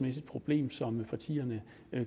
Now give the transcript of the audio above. et problem som partierne